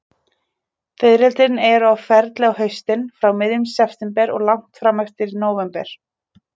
Fiðrildin eru á ferli á haustin, frá miðjum september og langt fram eftir nóvember.